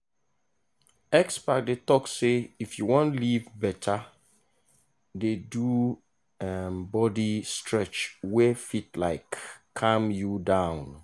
experts dey talk say if you wan live better dey do um body stretch wey fit um calm you down.